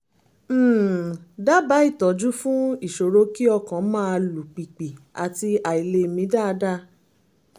um dábàá ìtọ́jú fún ìṣòro kí ọkàn máa lù pìpì àti àìlè mí dáadáa